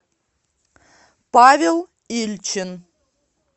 павел ильчин